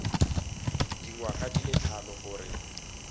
dingwaga di le tlhano gore